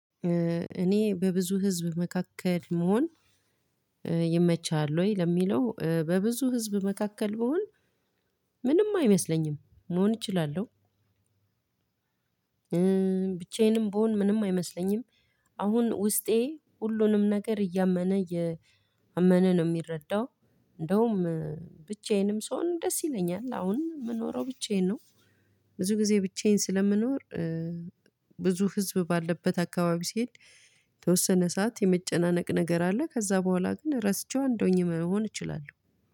እኔ በብዙ ህዝብ መካከል መሆን ይመቻል ወይ ለሚለው በብዙ ህዝብ መካከል ቢሆን ምንም አይመስለኝም መሆን እችላለሁ። ብቻዬንም ብሆን ምንም አይመስለኝም። አሁን ውስጤ ሁሉንም ነገር እያመነ ነው ምረዳው። እንደውም ብቻዬንም ስሆን ደስ ይለኛል አሁን ምኖረው ብቻዬን ነው። ብዙ ጊዜ ብቻዬን ስለምኖር። ብዙ ህዝብ ባለበት አከባቢ ስሄድ የተወሰነ ሰዓት የመጨናነቅ ነገር አለ። ከዛ በኋላ ግን ረስቼው እንድ ሆኜ መሆን እችላለሁ